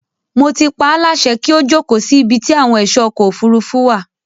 Mo ti paáláṣẹ kí ó jókòó sí ibi ti àwọn ẹ̀ṣọ́ ọkọ̀ òfurufú wà.